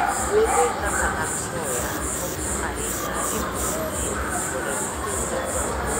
Puothe kaka mag soya konyo ahinya e pidho ji koda pidho jamni.